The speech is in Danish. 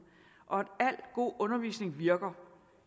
og at al god undervisning virker